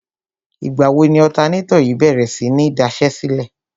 Ìgbà wo ni ọ̀tanátọ̀ yìí bèrè sí ní daṣẹ́sílẹ̀?